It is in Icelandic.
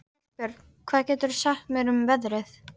Hallbjörn, hvað geturðu sagt mér um veðrið?